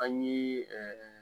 An ye ɛɛ